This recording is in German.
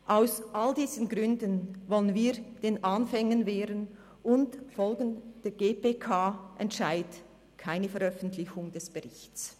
Aus all diesen Gründen wollen wir den Anfängen wehren und folgen dem GPK-Entscheid: keine Veröffentlichung des Berichts.